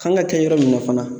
Kan ka kɛ yɔrɔ min na fana